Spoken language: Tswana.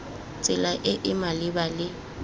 tsela e e maleba le